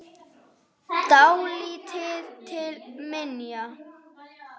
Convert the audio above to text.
Dálítið til minja.